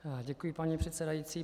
Děkuji, paní předsedající.